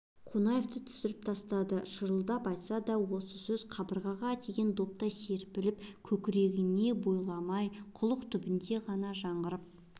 қонаевты түсіріп тастады шырылдап айтылса да осы сөз қабырғаға тиген доптай секіріп көкрегіне бойламай құлақ түбінен ғана жаңғырып